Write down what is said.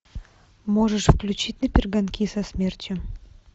можешь включить на перегонки со смертью